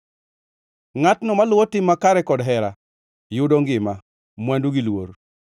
Ngʼatno maluwo tim makare kod hera yudo ngima, mwandu gi luor.